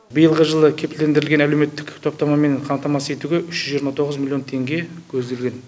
биылғы жылы кепілдендірілген әлеуметтік топтамамен қамтамасыз етуге үш жүз жиырма тоғыз миллион теңге көзделген